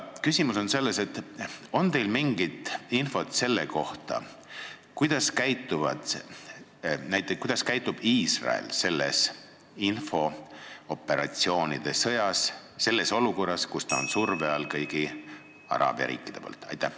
Kas teil on mingit infot selle kohta, kuidas käitub Iisrael selles infooperatsioonide sõjas, selles olukorras, kus ta on kõigi araabia riikide surve all?